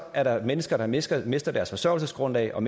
er der mennesker der mister mister deres forsørgelsesgrundlag og